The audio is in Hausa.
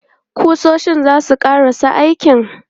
Ƙusoshin za su ƙarasa aikin?